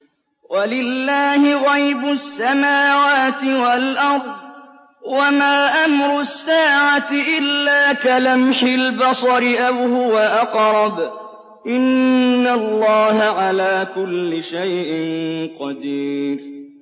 وَلِلَّهِ غَيْبُ السَّمَاوَاتِ وَالْأَرْضِ ۚ وَمَا أَمْرُ السَّاعَةِ إِلَّا كَلَمْحِ الْبَصَرِ أَوْ هُوَ أَقْرَبُ ۚ إِنَّ اللَّهَ عَلَىٰ كُلِّ شَيْءٍ قَدِيرٌ